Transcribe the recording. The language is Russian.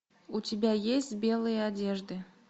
у тебя есть белые одежды